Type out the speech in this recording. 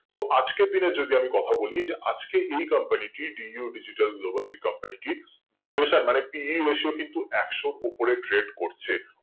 তো আজকের দিনে যদি আমি কথা বলি যে আজকে এই company টি DU Digital Global যে company টি valuation মানে pusu কিন্তু একশো উপরে tred করছে